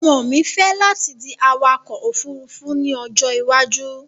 Ọmọ mi fẹ́ láti di awakọ̀-òfurufú ní ọjọ́ ìwájú